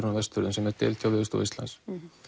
á Vestfjörðum sem er deild hjá Veðurstofu Íslands